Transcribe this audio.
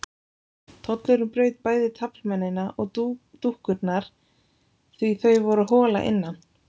Tollurinn braut bæði taflmennina og dúkkurnar því þau voru hol að innan.